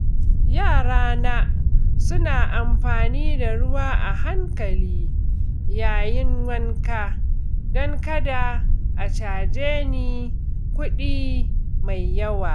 Yarana suna amfani da ruwa a hankali yayin wanka don kada a caje ni kuɗi mai yawa.